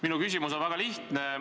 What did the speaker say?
Minu küsimus on väga lihtne.